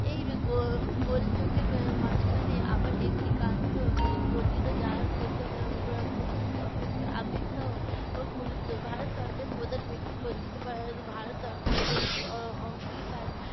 এই গো~ গোল যোগের এর মাঝখানে আবার একটি কাণ্ড এর ঘটিল যাহার প্রথম আহ প~ প্রথমটি অপেক্ষা আপেক্ষাও এর গুরুত্বর। ভারত সরকারের প্রধান ব্যক্তি কতৃত্ব ভারত সরকারের পবিত্র অ~ অঙ্গিকার